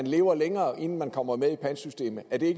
lever længere inden man kommer med i pantsystemet er det